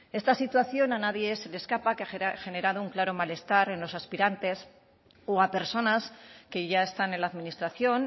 esta situación a nadie se le escapa que ha generado un claro malestar en los aspirantes o a personas que ya están en la administración